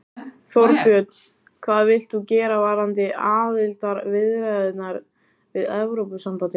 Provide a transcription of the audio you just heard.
Þorbjörn: Hvað vilt þú gera varðandi aðildarviðræðurnar við Evrópusambandið?